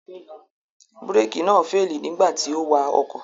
Búrékì náà féèlì nígbà tí ó wa ọkọ̀